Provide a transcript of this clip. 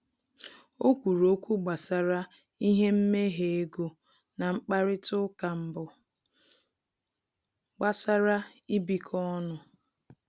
O kwuru okwu gbasara ihe mmehe ego na mkparịta uka mbụ gbasara ịbikọ ọnụ